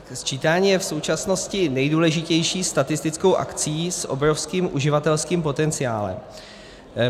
Sčítání je v současnosti nejdůležitější statistickou akcí s obrovským uživatelským potenciálem.